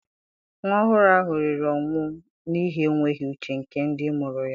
Nwa ọhụrụ ahụ riri ọnwụ n'ihi enweghị uche nke ndị mụrụ ya.